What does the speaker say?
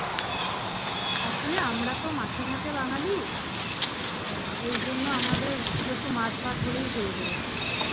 আসলে আমরা তো মাছে ভাতে বাঙালি আহ এইজন্য আমাদের শুধু একটু মাছ ভাত হলেই হয়ে যায়।